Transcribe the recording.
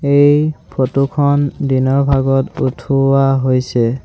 এই ফটো খন দিনৰ ভাগত উঠোৱা হৈছে।